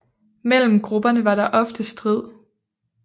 Mellem grupperne var der ofte strid